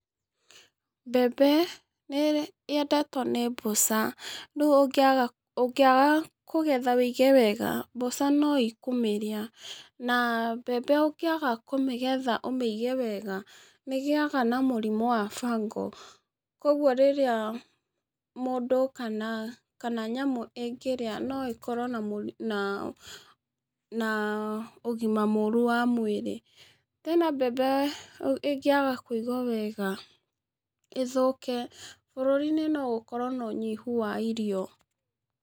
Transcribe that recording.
Mbembe nĩ yendetwo nĩ mbũca. Rĩu ũngĩaga kũgetha ũige wega mbũca no ikũmĩrĩa, na mbembe ũngĩaga kũmĩgetha ũmĩige wega nĩ ĩgĩaga na mũrimũ wa fungal. Kogwo rĩrĩa mũndũ kana nyamũ ĩngĩria no ĩkorwo na ũgima mũũrũ wa mwĩrĩ. Tena mbembe ĩngĩaga kũigwo wega ĩthũke, bũrũri-inĩ no gũkorwo na ũnyihu wa irio.